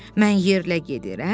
Mən yerlə gedirəm,